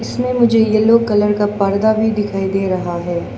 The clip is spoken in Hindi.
इसमें मुझे येलो कलर का पर्दा भी दिखाई दे रहा है।